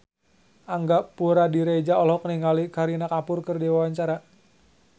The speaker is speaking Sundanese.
Angga Puradiredja olohok ningali Kareena Kapoor keur diwawancara